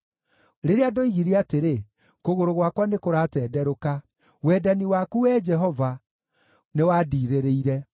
Rĩrĩa ndoigire atĩrĩ, “Kũgũrũ gwakwa nĩkũratenderũka,” wendani waku, Wee Jehova, nĩwandiirĩrĩire.